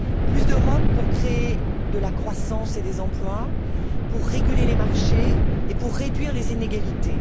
Plus d'Europe pour créer de la croissance et des emplois, pour réguler les marchés et pour réduire les inégalités.